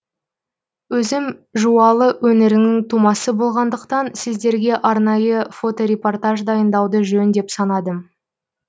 өзім жуалы өңірінің тумасы болғандықтан сіздерге арнайы фоторепортаж дайындауды жөн деп санадым